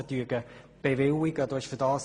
Du hast den Teuerungsstand von 2011 erwähnt.